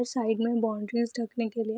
side में boundary ढकने के लिए --